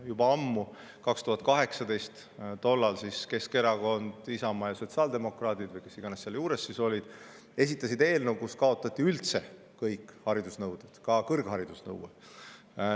Juba ammu, 2018. aastal esitasid Keskerakond, Isamaa ja sotsiaaldemokraadid – või kes iganes seal juures olid – eelnõu, mille kohaselt oleks kaotatud üldse kõik haridusnõuded, ka kõrghariduse nõue.